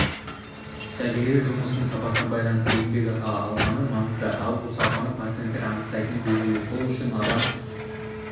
дәрігерлер жұмысының сапасына байланысты еңбекақы алғаны маңызды ал бұл сапаны пациенттер анықтайтыны белгілі сол үшін адам